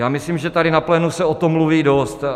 Já myslím, že tady na plénu se o tom mluví dost.